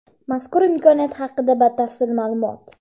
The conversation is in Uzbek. Mazkur imkoniyat haqida batafsil ma’lumot.